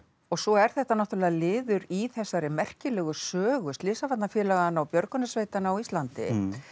svo er þetta náttúrulega liður í þessari merkilegu sögu slysavarnarfélaganna og björgunarsveitanna á Íslandi